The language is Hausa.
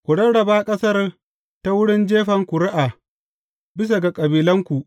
Ku rarraba ƙasar ta wurin jefan ƙuri’a, bisa ga kabilanku.